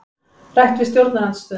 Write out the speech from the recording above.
Rætt við stjórnarandstöðuna